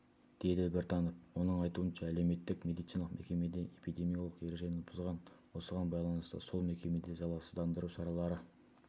деді біртанов оның айтуынша әлеуметтік-медициналық мекеме эпидемиологиялық ережені бұзған осыған байланысты сол мекемеде залалсыздандыру шаралары